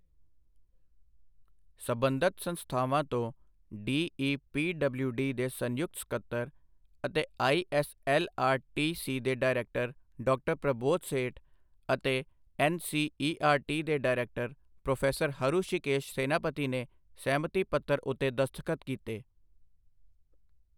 ਸੰਬੰਧਤ ਸੰਸਥਾਵਾਂ ਤੋਂ ਡੀਈਪੀਡਬਲਿਊਡੀ ਦੇ ਸੰਯੁਕਤ ਸਕੱਤਰ ਅਤੇ ਆਈਐੱਸਐੱਲਆਰਟੀਸੀ ਦੇ ਡਾਇਰੈਕਟਰ ਡਾ ਪ੍ਰਬੋਧ ਸੇਠ ਅਤੇ ਐੱਨਸੀਈਆਰਟੀ ਦੇ ਡਾਇਰੈਕਟਰ ਪ੍ਰੋਫ਼ੈਸਰ ਹਰੁਸ਼ੀਕੇਸ਼ ਸੈਨਾਪਤੀ ਨੇ ਸਹਿਮਤੀ ਪੱਤਰ ਉੱਤੇ ਦਸਤਖ਼ਤ ਕੀਤੇ।